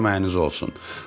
Allah köməyiniz olsun.